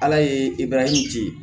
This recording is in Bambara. Ala ye ebaaraw ten